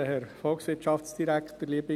Bitte loggen Sie sich noch rasch ein.